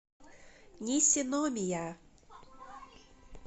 нисиномия